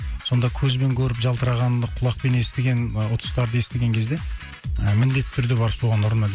сонда көзбен көріп жалтырағанды құлақпен естіген ы ұтыстарды естіген кезде ыыы міндетті түрде барып соған ұрынады